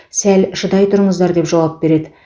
сәл шыдай тұрыңыздар деп жауап береді